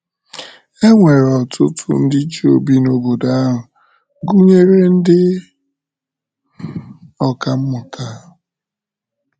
E nwere ọtụtụ ndị Juu bi n’obodo ahụ, gụnyere ndị ọkà mmụta.